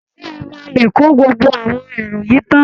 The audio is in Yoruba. Ṣé ẹ máa lè kó gbogbo àwọn èrò yìí tán?